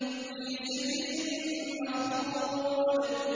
فِي سِدْرٍ مَّخْضُودٍ